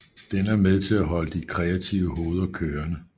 Den er med til at holde de kreative hoveder kørende